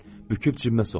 Büküb cibimə soxdum.